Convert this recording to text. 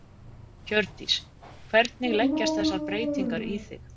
Hjördís: Hvernig leggjast þessar breytingar í þig?